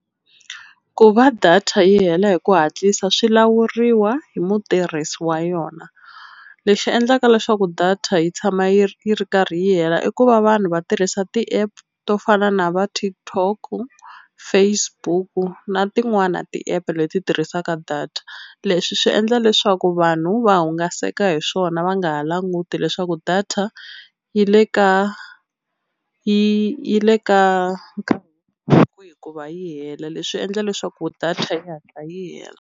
Ku va data yi hela hi ku hatlisa swi lawuriwa hi mutirhisi wa yona lexi endlaka leswaku data yi tshama yi ri yi ri karhi yi hela i ku va vanhu va tirhisa ti-app to fana na va TikTok-u Facebook-u na tin'wana ti-app leti tirhisaka data leswi swi endla leswaku vanhu va hungaseka hi swona va nga ha languti leswaku data yi le ka yi yi le ka ku va yi hela leswi endla leswaku data yi hatla yi hela.